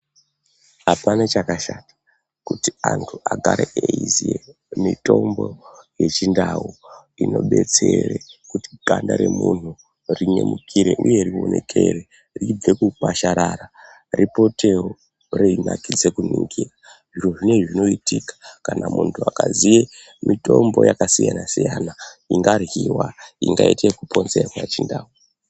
Apana chakashata kuti antu agare eiziye mitombo yechindau inobetsere kuti ganda remuntu rinyemukire uye rionekere ribve kukwasharara ripotewo reinakidze kuningira zviro zvinezvi zvinoitika kana muntu akaziye mitombo yakasiyana siyana ingaryiwa ingaite kuponzerwa chindau.